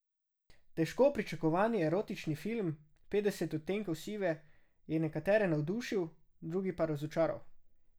Težko pričakovani erotični film Petdeset odtenkov sive je nekatere navdušil, druge pa razočaral.